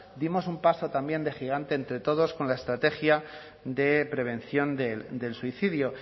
dimos un paso también de gigante entre todos con la estrategia de prevención del suicidio